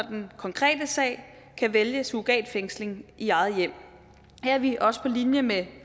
den konkrete sag kan vælge surrogatfængsling i eget hjem her er vi også på linje med